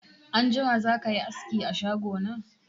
Anjima zakayi aski a shago na?